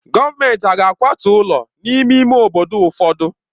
Gọọmenti hà ga-akwatu ụlọ n'ime ime obodo ụfọdụ?